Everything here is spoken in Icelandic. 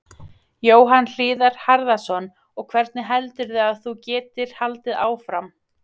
Jóhann Hlíðar Harðarson: Og hvernig heldurðu að þú getir haldið áfram?